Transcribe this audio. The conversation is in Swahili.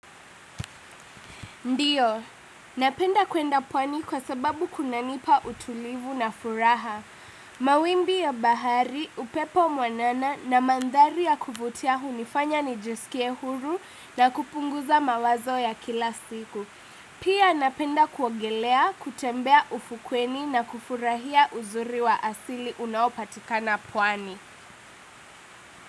Ndiyo, napenda kwenda pwani kwa sababu kunanipa utulivu na furaha. Mawimbi ya bahari, upepo mwanana na mandhari ya kuvutia, hunifanya nijiskie huru na kupunguza mawazo ya kila siku. Pia napenda kuogelea, kutembea ufukweni na kufurahia uzuri wa asili unaopatikana pwani.